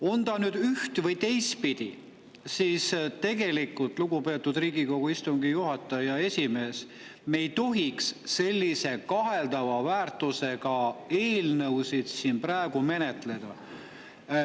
On ta nüüd üht- või teistpidi, tegelikult, lugupeetud Riigikogu istungi juhataja ja esimees, me ei tohiks sellise kaheldava väärtusega eelnõusid siin praegu menetleda.